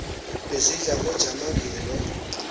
bezidla ngojamangile loo